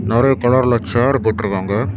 நிறைய கலர்ல சேர் போட்டுருக்காங்க.